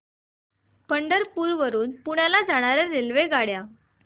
पंढरपूर वरून पुण्याला जाणार्या रेल्वेगाड्या